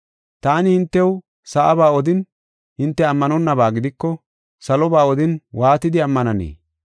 Taani hintew sa7aba odin hinte ammanonnaba gidiko saloba odin waatidi ammananee?